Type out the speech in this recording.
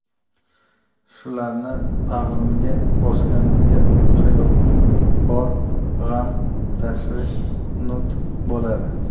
Shularni bag‘rimga bosganimda hayotning bor g‘am-tashvishi unut bo‘ladi.